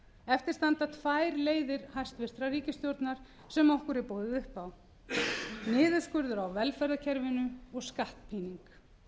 eftir standa tvær leiðir hæstvirtrar ríkisstjórnar sem okkur er boðið upp á niðurskurður á velferðarkerfinu og skattpíning